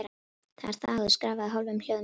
Það er þagað og skrafað í hálfum hljóðum í húsunum.